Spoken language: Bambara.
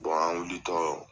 an wuli tɔ